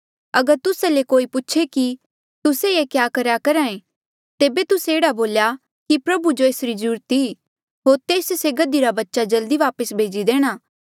अगर तुस्सा ले कोई पूछे कि तुस्से ये क्या करेया करहा ऐें तेबे तुस्से एह्ड़ा बोल्या कि प्रभु जो ऐसरी ज्रूरत ई होर तेस से गधी रा बच्चा जल्दी वापस भेजी देणा